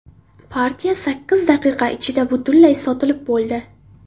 Partiya sakkiz daqiqa ichida butunlay sotilib bo‘ldi.